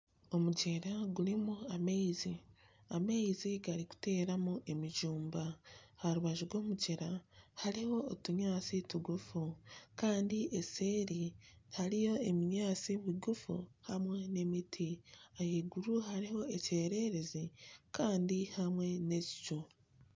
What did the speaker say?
Omugyera gurimu amaizi, amaizi garikuteeramu emijumba. Aha rubaju rw'omugyera hariho otunyaatsi tugufu kandi obuseeri hariyo obunyaatsi bugufu hamwe n'emiti. Ahaiguru hariho ekyererezi kandi hamwe n'ekicu.